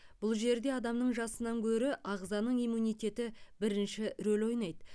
бұл жерде адамның жасынан гөрі ағзаның иммунитеті бірінші рөл ойнайды